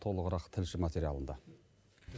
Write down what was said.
толығырақ тілші материлында